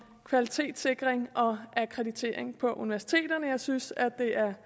kvalitetssikring og akkreditering på universiteterne jeg synes at det er